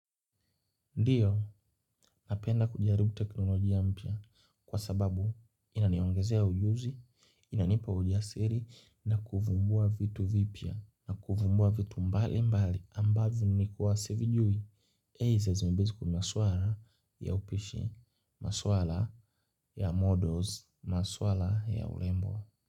Ndio, napenda kujaribu teknolojia mpya kwa sababu inaniongezea ujuzi, inanipa ujasiri na kuvumbua vitu vipya na kuvumbua vitu mbali mbali ambavyo nilikuwa sivijui. Hei zezmibezi kumaswara ya upishi, maswara ya models, maswara ya urembo.